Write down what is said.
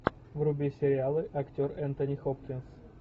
вруби сериалы актер энтони хопкинс